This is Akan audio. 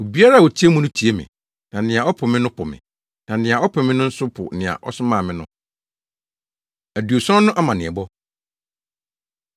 “Obiara a otie mo no tie me, na nea ɔpo mo no po me, na nea ɔpo me no nso po nea ɔsomaa me no.” Aduɔson No Amanneɛbɔ